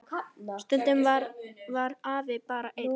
Stundum var afi bara einn.